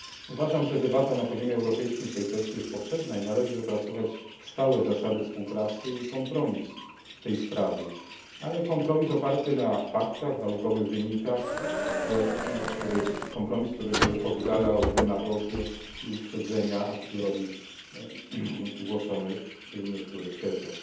Uważam, że debata na poziomie europejskim w tej kwestii jest potrzebna i należy wypracować stałe zasady współpracy i kompromis w tej sprawie, ale kompromis oparty na faktach, naukowych wynikach, kompromis, który oddalałby demagogię i uprzedzenia a priori głoszone w niektórych tezach.